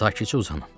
Sakitcə uzanın.